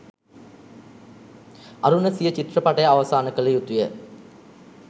අරුණ සිය චිත්‍රපටය අවසාන කළ යුතුය